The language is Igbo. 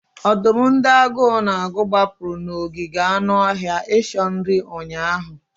Ọdụm ndị agụụ na-agụ gbapụrụ n'ogige anụ ọhịa icho nri ụnyaahụ.